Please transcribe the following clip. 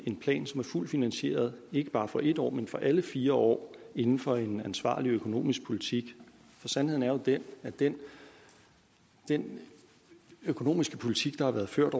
en plan som er fuldt finansieret ikke bare for en år men for alle fire år inden for en ansvarlig økonomisk politik for sandheden er jo den at den den økonomiske politik der har været ført